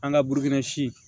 An ka burukina si